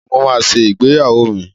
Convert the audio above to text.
Ọ̀la ni mo máa ṣe ìgbéyàwó mi.